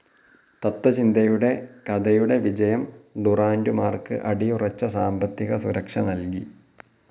തത്ത്വചിന്തയുടെ കഥയുടെ വിജയം ഡുറാന്റുമാർക്ക് അടിയുറച്ച സാമ്പത്തിക സുരക്ഷ നൽകി.